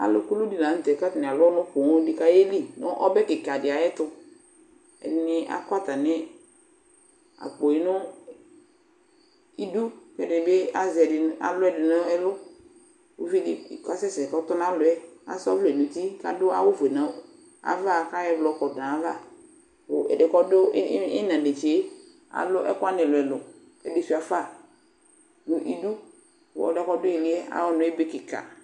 Alʋ kulu dɩ la nʋ tɛ kʋ atanɩ alʋ ɔnʋ poo dɩ kʋ ayeli nʋ ɔbɛ kɩka dɩ ayɛtʋ Ɛdɩnɩ akɔ atamɩ akpo yɛ nʋ idu kʋ ɛdɩnɩ bɩ azɛ ɛdɩnɩ alʋ ɛdɩnɩ nʋ ɛlʋ Uvi dɩ kʋ asɛsɛ kʋ ɔtɔnalɔ yɛ asa ɔvlɛ nʋ uti kʋ adʋ awʋfue nʋ ava kʋ ayɔ ɛblɔ kɔdʋ nʋ ayava Kʋ ɛdɩ kʋ ɔdʋ ɩ ɩ ɩɣɩna netse yɛ alʋ ɛkʋ wanɩ ɛlʋ-ɛlʋ kʋ ɛdɩ sʋɩa fa nʋ idu kʋ ɛdɩ yɛ kʋ ɔdʋ ɩɩlɩ yɛ, ayʋ ɔnʋ yɛ ebe kɩka